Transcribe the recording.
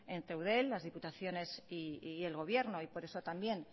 entre eudel las diputaciones y el gobierno y por eso también